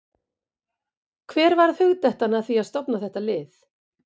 Hver varð hugdettan að því að stofna þetta lið?